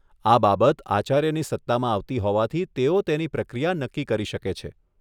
આ બાબત આચાર્યની સત્તામાં આવતી હોવાથી તેઓ તેની પ્રક્રિયા નક્કી કરી શકે છે.